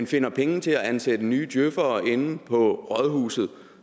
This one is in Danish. finder penge til at ansætte nye djøfere for inde på rådhuset